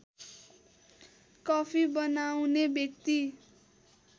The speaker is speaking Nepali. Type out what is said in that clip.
कफी बनाउने व्यक्ति